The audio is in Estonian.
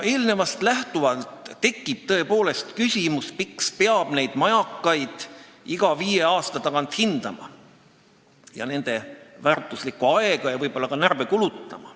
Sellest lähtuvalt tekib tõepoolest küsimus, miks peab neid majakaid iga viie aasta tagant hindama ning nende väärtuslikku aega ja võib-olla ka närve kulutama.